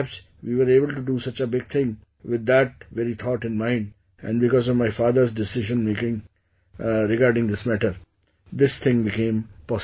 Perhaps we were able to do such a big thing with that very thought in mind, and because of my father's decision making regarding this matter, this thing became possible